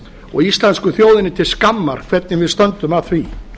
og íslensku þjóðinni til skammar hvernig við stöndum að því